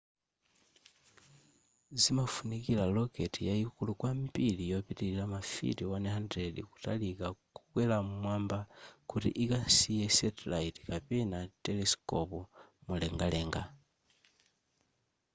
zimafunika rocket yayikulu kwambiri yopitilira mafiti 100 kutalika kokwera m'mwamba kuti ikasiye satellite kapena telesikopi mumlengalenga